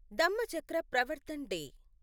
Dhammachakra Pravartan day